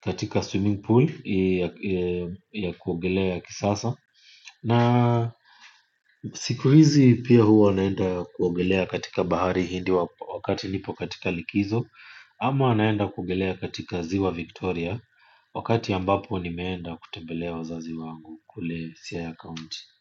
katika swimming pool ya kuogelea ya kisasa. Na siku hizi pia hwa naenda kuogelea katika bahari hindi wakati nipo katika likizo. Ama naenda kuogelea katika ziwa Victoria. Wakati ambapo ni meenda kutembelea wazazi wangu kule siaya county.